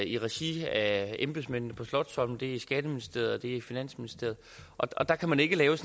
i regi af embedsmændene på slotsholmen det er skatteministeriet og det er finansministeriet og der kan man ikke lave